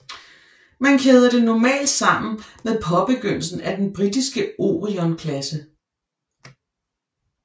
Man kæder det normalt sammen med påbegyndelsen af den britiske Orion klasse